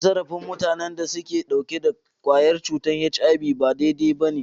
Cin zarafin mutanen da ke dauke da kwayar cutar HIV ba daidai ba ne.